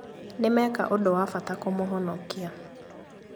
Nĩmeka ũndũ wa bata kũmũhonokia